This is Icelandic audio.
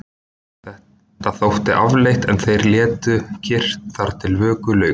Þetta þótti afleitt en þeir létu kyrrt þar til vöku lauk.